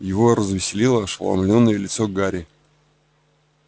его развеселило ошеломлённое лицо гарри